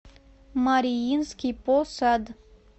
мариинский посад